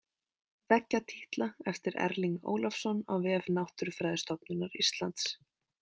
Veggjatítla eftir Erling Ólafsson á vef Náttúrufræðistofnunar Íslands.